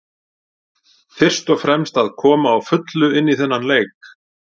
Fyrst og fremst að koma á fullu inn í þennan leik.